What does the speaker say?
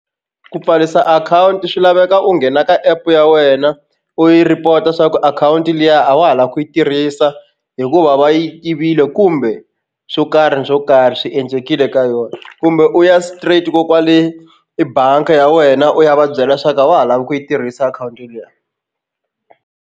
Ku pfarisa akhawunti swi laveka u nghena ka app ya wena u yi report swa ku akhawunti liya a wa ha lava ku yi tirhisa hikuva va yi yivile kumbe swo karhi ni swo karhi swi endlekile ka yona kumbe u ya straight ko kwale ebangi ya wena u ya va byela swa ku a wa ha lava ku yi tirhisa akhawunti liya.